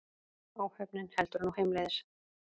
Áhöfnin heldur nú heimleiðis